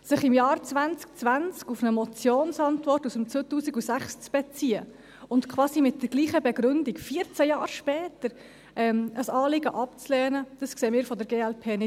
Sich im Jahr 2020 auf eine Motionsantwort aus dem Jahr 2006 zu beziehen und quasi mit der gleichen Begründung – 14 Jahre später! – ein Anliegen abzulehnen, dies sehen wir von der glp nicht ein.